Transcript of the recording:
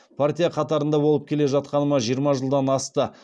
партия қатарында болып келе жатқаныма жиырма жылдан асты